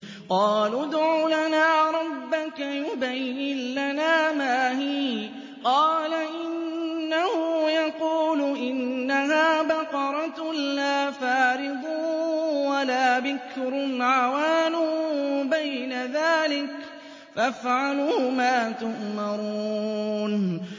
قَالُوا ادْعُ لَنَا رَبَّكَ يُبَيِّن لَّنَا مَا هِيَ ۚ قَالَ إِنَّهُ يَقُولُ إِنَّهَا بَقَرَةٌ لَّا فَارِضٌ وَلَا بِكْرٌ عَوَانٌ بَيْنَ ذَٰلِكَ ۖ فَافْعَلُوا مَا تُؤْمَرُونَ